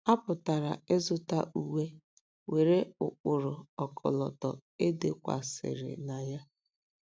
A pụkwara ịzụta uwe nwere ụkpụrụ ọkọlọtọ e dekwasịrị na ya.